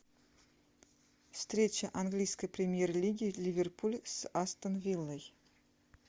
встреча английской премьер лиги ливерпуль с астон виллой